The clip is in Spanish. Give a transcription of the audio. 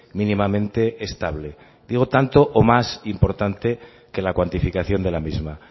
mínimamente estable digo tanto o más importante que la cuantificación de la misma